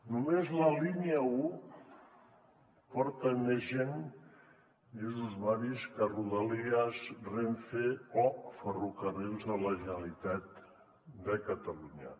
només la línia un porta més gent més usuaris que rodalies renfe o ferrocarrils de la generalitat de catalunya